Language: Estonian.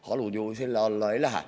Halud ju selle alla ei lähe.